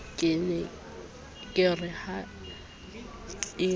ke re na ha e